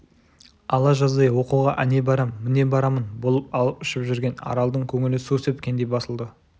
ала жаздай оқуға әне барам міне барамын болып алып-ұшып жүрген аралдың көңілі су сепкендей басылды